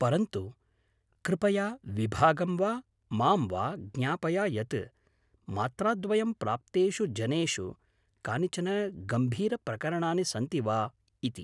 परन्तु कृपया विभागं वा मां वा ज्ञापय यत् मात्राद्वयं प्राप्तेषु जनेषु कानिचन गम्भीरप्रकरणानि सन्ति वा इति।